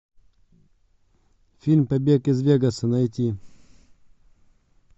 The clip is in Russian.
фильм побег из вегаса найти